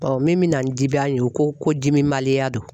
min bɛna ni jiban ye ko ko dimibaliya don .